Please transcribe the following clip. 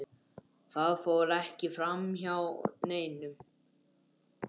Það fór ekki framhjá neinum.